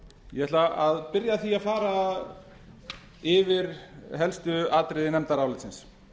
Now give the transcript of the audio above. ég ætla að byrja á því að fara yfir helstu atriði nefndarálitsins